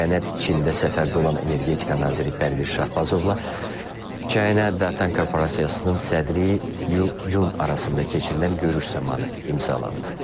Sənəd Çində səfərdə olan energetika naziri Pərviz Şahbazovla China Datang Korporasiyasının sədri Liu Jun arasında keçirilən görüş zamanı imzalanıb.